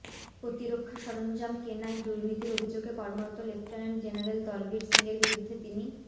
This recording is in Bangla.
প্রতিরক্ষা সরঞ্জাম কেনায় দুর্নীতির অভিযোগে কর্মরত লেফটেন্যান্ট জেনারেল দলবীর সিংয়ের বিরুদ্ধে তিনি